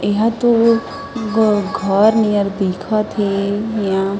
एहर तो घर नियर दिखा थेय--